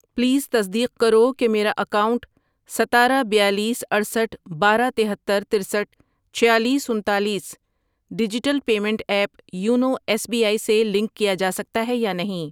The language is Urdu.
پلیز تصدیق کرو کہ میرا اکاؤنٹ ستارہ، بیالیس، اٹھسٹھ ،بارہ، تہتر، ترستھ ،چھیالیس، انتالیس digital payment app YONO S B I سے لنک کیا جا سکتا ہے یا نہیں۔